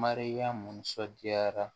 Mariyamu sɔndiyara